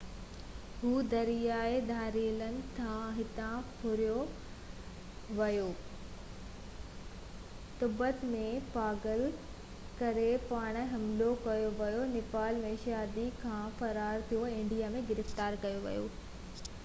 هُو دريائي ڌاڙيلن هٿان ڦُريو ويو تبت ۾ پاگل ڪٿي پاران حملو ڪيو ويو نيپال ۾ شادي کان فرار ٿيو ۽ انڊيا ۾ گرفتار ڪيو ويو هو